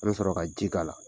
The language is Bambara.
An be sɔrɔ ka ji k'a la.